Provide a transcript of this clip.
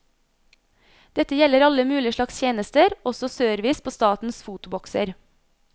Dette gjelder alle mulig slags tjenester, også service på statens fotobokser.